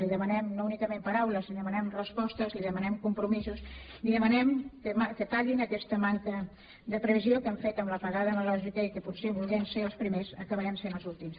li demanem no únicament paraules li demanem respostes li demanem compromisos li demanem que tallin aquesta manca de previsió que han fet amb l’apagada analògica en què potser volent ser els primers acabarem sent els últims